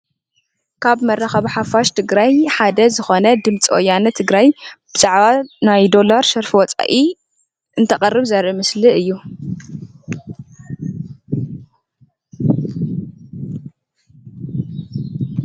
ካብ መራከቢ ሓፋሽ ትግራይ ሓደ ዝኾነ ድምፂ ወያነ ትግራይ ብዛዕባ ናይ ዶላር ሸርፊ ወፃኢ እንተቅርብ ዘርኢ ምስሊ እዩ።